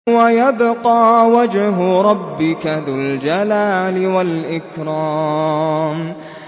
وَيَبْقَىٰ وَجْهُ رَبِّكَ ذُو الْجَلَالِ وَالْإِكْرَامِ